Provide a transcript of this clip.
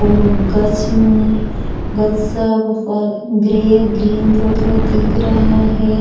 ओ गच्म गच से ऊपर ग्रे ग्रीन थोड़ा थोड़ा दिख रहा है।